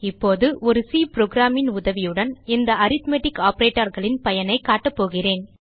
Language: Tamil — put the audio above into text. இப்போது ஒரு சி புரோகிராம் ன் உதவியுடன் இந்த அரித்மெட்டிக் operationகளின் பயனைக் காட்டப்போகிறேன்